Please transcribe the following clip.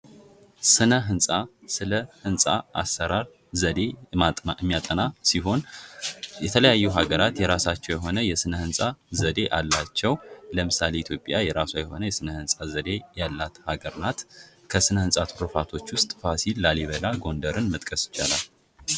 ስነ ህንፃ ስለ ህንፃ አሰራር ዘዴ የሚያጠና ዘዴ ሲሆን የተለያዩ ሀገራት የራሳቸው የሆነ የስነ ህንፃ ዘዴ አላቸው ለምሳሌ የኢትዮጵያ የራሷ የሆነ የስነ ህንፃ ዘዴ ያላት አገር ናት። ከስነ ህንፃ ቱርፋቶች ውስጥ ፋሲል፥ ላሊበላ፥ ጎንደርን መጥቀስ ይቻላል።